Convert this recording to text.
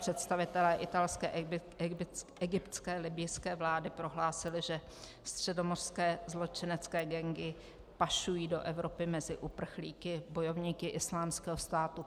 Představitelé italské, egyptské, libyjské vlády prohlásili, že středomořské zločinecké gangy pašují do Evropy mezi uprchlíky bojovníky Islámského státu.